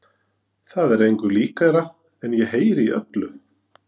Það er engu líkara en ég heyri í öllu